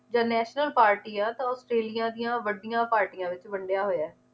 ਜਾਂ national party ਆ ਤਾਂ ਔਸਟ੍ਰੇਲਿਆ ਦੀਆਂ ਵਡੀਆਂ ਪਾਰਟੀਆਂ ਵਿਚ ਵੰਡਿਆ ਹੋਇਆ ਏ